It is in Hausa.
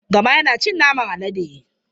Gama yana cin naman alade.